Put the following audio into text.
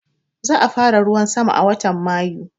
Za a fara ruwan sama a watan Mayu